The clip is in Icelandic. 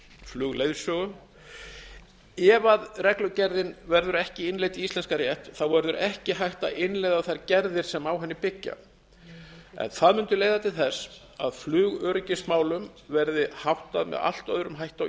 flugleiðsögu ef reglugerðin verður ekki innleidd í íslenskan rétt verður ekki hægt að innleiða þær gerðir sem á henni byggja en það mundi leiða til þess að flugöryggismálum verði háttað með allt öðrum hætti á